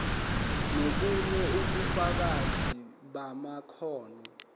nobunye ubufakazi bamakhono